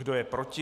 Kdo je proti?